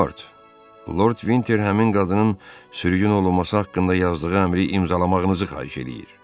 Milord, Lord Vinter həmin qadının sürgün olunması haqqında yazdığı əmri imzalamağınızı xahiş eləyir.